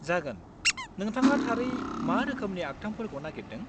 जागोन, नोंथाङा थारै मा रोखोमनि आखथामफोरखौ नागेरदों?